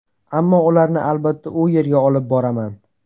Ammo ularni, albatta, u yerga olib boraman”.